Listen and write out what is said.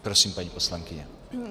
Prosím, paní poslankyně.